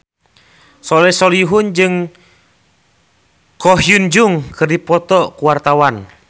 Soleh Solihun jeung Ko Hyun Jung keur dipoto ku wartawan